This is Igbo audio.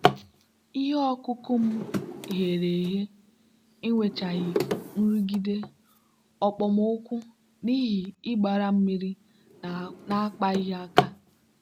ihe ọkụkụ m ghere eghe enwechaghị nrụgide okpomọkụ n'ihi ịgbara mmiri na-akpaghị aka.